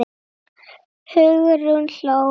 Hugrún hló hvellt.